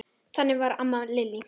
Þannig var amma Lillý.